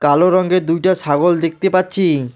কালো রঙের দুইটা ছাগল দেখতে পাচ্ছি।